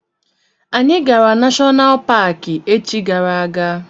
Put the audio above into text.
Anyị gara nashonal paki echi gara aga.